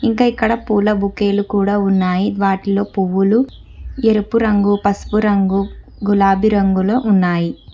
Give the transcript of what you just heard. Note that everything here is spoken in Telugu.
ఇంకా ఇక్కడ పూల బుకేలు కుడా ఉన్నాయి వాటిలో పువ్వులు ఎరుపు రంగు పసుపు రంగు గులాబీ రంగులో ఉన్నాయి.